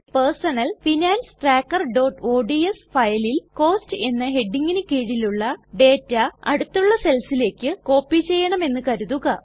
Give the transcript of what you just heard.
personal finance trackerഓഡ്സ് ഫയലിൽ cost എന്ന ഹെഡിംഗിനു കീഴിലുള്ള ഡേറ്റ അടുത്തുള്ള സെൽസിലേക്ക് കോപ്പി ചെയ്യണമെന്ന് കരുതുക